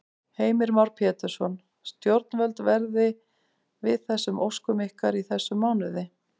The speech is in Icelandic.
Heimir Már Pétursson: Stjórnvöld verði við þessum óskum ykkar í þessum mánuði?